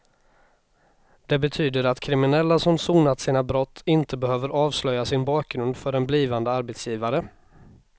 Det betyder att kriminella som sonat sina brott inte behöver avslöja sin bakgrund för en blivande arbetsgivare.